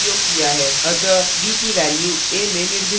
अतः b की value a में निर्दिष्ट की जाती है